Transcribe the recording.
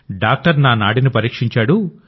doctor నా నాడిని పరీక్షించాడు